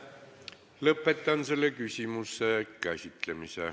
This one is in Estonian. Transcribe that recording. Lõpetan selle küsimuse käsitlemise.